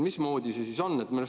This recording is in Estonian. Mismoodi see siis on?